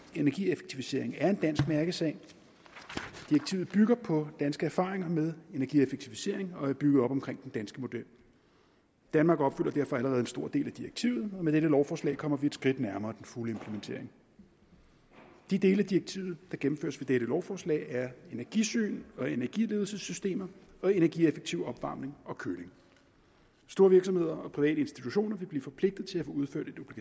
energieffektivisering er en dansk mærkesag direktivet bygger på danske erfaringer med energieffektivisering og er bygget op omkring den danske model danmark opfylder derfor allerede en stor del af direktivet og med dette lovforslag kommer vi et skridt nærmere den fulde implementering de dele af direktivet der gennemføres ved dette lovforslag er energisyn og energiledelsessystemer og energieffektiv opvarmning og køling store virksomheder og private institutioner vil blive forpligtet til at få udført et